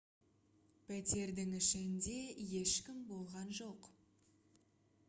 пәтердің ішінде ешкім болған жоқ